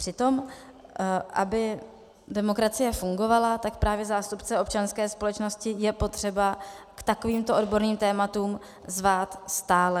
Přitom aby demokracie fungovala, tak právě zástupce občanské společnosti je potřeba k takovýmto odborným tématům zvát stále.